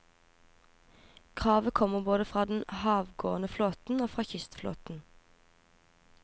Kravet kommer både fra den havgående flåten og fra kystflåten.